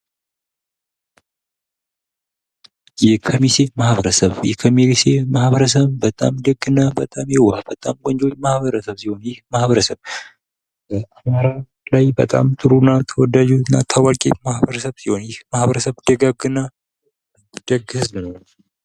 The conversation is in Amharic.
የከሚኒሴ ማህበረሰብ፤ የከሚኒሴ ማህበረሰብ በጣም ደግ እና በጣም የዋህ፣ በጣም ቆንጆ ማህበረሰብ ሲሆን ይህ ማህበረሰብ የአማራ ክልል ላይ በጣም ጥሩ እና ተወዳጅ እና ታዋቂ ማህበረሰብ ሲሆኑ ይህ ማህበረሰብ ደጋግ እና ደግ ህዝብ ነው።